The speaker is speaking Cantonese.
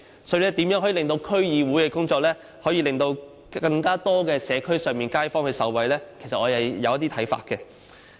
所以，對於如何使區議會的工作令更多社區街坊受惠，其實我是有一些看法的。